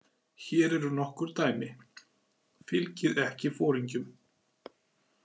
Hér eru nokkur dæmi: Fylgið ekki foringjum.